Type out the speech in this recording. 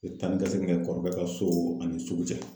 O taanikasegin kɛ ka so ani sugu cɛ.